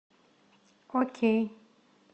окей